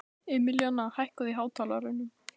Emilíana, hækkaðu í hátalaranum.